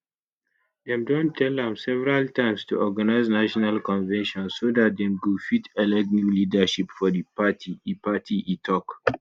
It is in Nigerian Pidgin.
dem don tell am several times to organise national convention so dat dem go fit elect new leadership for di party e party e tok